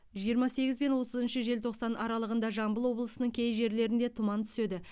жиырма сегіз бен отызыншы желтоқсан аралығында жамбыл облысының кей жерлерінде тұман түседі